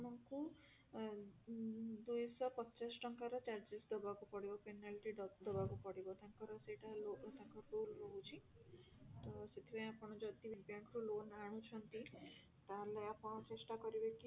ଦୁଇ ଶହ ଅ ଦୁଇ ଶହ ପଚାଶ ଟଙ୍କାର charges ଦବାକୁ ପଡିବ penalty dot ଦବାକୁ ପଡିବ ତାଙ୍କର ସେଟା ତାଙ୍କର logo ତାଙ୍କ ଭୁଲ ରହୁଛି ତ ସେଥିପାଇଁ ଆପଣ ଯଦି ବି bank ରୁ loan ଆଣୁଛନ୍ତି ତାହେଲେ ଆପଣ ଚେଷ୍ଟା କରିବେ